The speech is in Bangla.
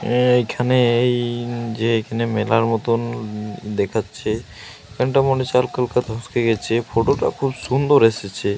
এ এইখানে এই যে এখানে মেলার মতন দেখাচ্ছে এখানটা মনে হচ্ছে গেছে। ফটো টা খুব সুন্দর এসেছে।